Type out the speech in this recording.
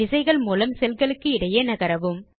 விசைகள் மூலம் செல் களுக்கு இடையே நகரவும்